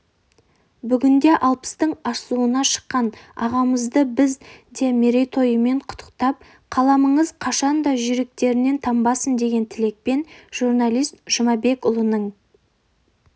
бүгінде алпыстың асуына шыққан ағамызды біз де мерейтойымен құттықтап қаламыңыз қашан да жүйріктігінен танбасын деген тілекпен журналист жұмабекұлының